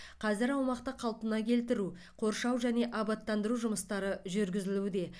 қазір аумақты қалпына келтіру қоршау және абаттандыру жұмыстары жүргізілуде